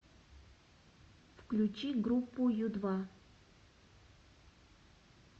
включи группу ю два